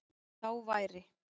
Þá væri